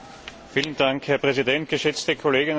Herr Präsident, geschätzte Kolleginnen und Kollegen!